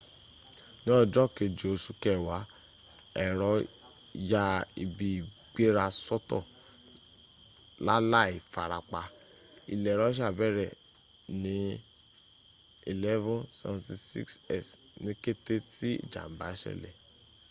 ní ọjọ́ keje osù kẹwàá ẹ̀rọ ya ibi ìgbéra sọ́tọ lálàì farapa. ilẹ̀ russia bẹ̀rẹ̀ ní ii-76s ní kéte tí ìjàm̀bá sẹlẹ̀